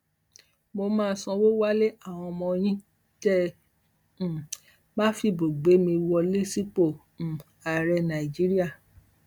mo máa sanwó wales àwọn ọmọ yín tẹ um ẹ bá fìbò gbé mi wọlé sípò um ààrẹ nàìjíríà